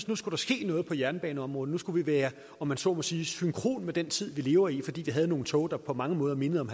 nu skulle ske noget på jernbaneområdet nu skulle være om man så må sige synkrone med den tid vi lever i fordi vi havde nogle tog der på mange måder mindede om